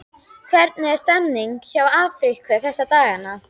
Hvernig er stemningin hjá Afríku þessa dagana?